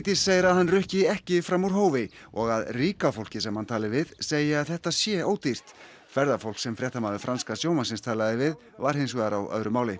segir að hann rukki ekki fram úr hófi og að ríka fólkið sem hann tali við segi að þetta sé ódýrt ferðafólk sem fréttamaður franska sjónvarpsins talaði við var hins vegar á öðru máli